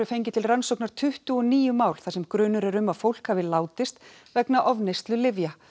fengið til rannsóknar tuttugu og níu mál þar sem grunur er um að fólk hafi látist vegna ofneyslu lyfja